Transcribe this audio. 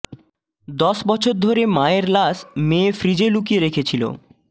দশ বছর ধরে মায়ের লাশ মেয়ে ফ্রিজে লুকিয়ে রেখেলিছ